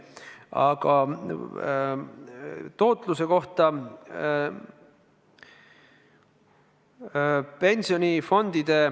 Aga nüüd tootlusest.